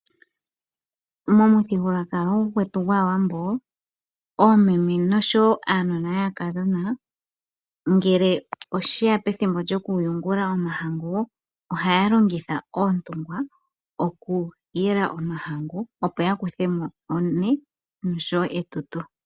Momuthigululwakalo gwetu gwAawambo, oomeme noshowo aanona yaakadhona, ngele osheya pethimbo lyokuyungula omahangu ohaya longitha oontungwa okuyela omahangu, opo ya kuthe mo one noshowo etutu.